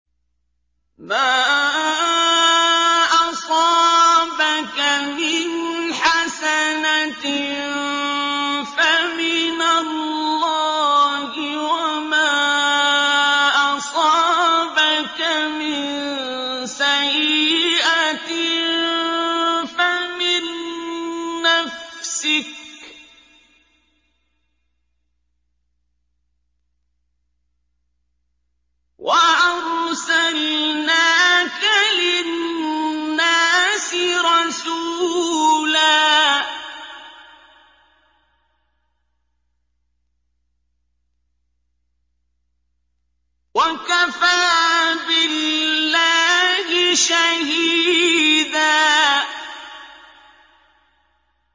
مَّا أَصَابَكَ مِنْ حَسَنَةٍ فَمِنَ اللَّهِ ۖ وَمَا أَصَابَكَ مِن سَيِّئَةٍ فَمِن نَّفْسِكَ ۚ وَأَرْسَلْنَاكَ لِلنَّاسِ رَسُولًا ۚ وَكَفَىٰ بِاللَّهِ شَهِيدًا